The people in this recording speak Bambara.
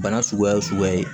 Bana suguya o suguya ye